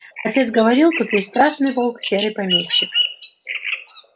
отец говорил тут есть страшный волк серый помещик